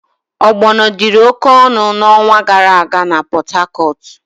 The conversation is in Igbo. Ogbono dịri oke ọnụ n'ọnwa gara aga na Pot-Hacortu.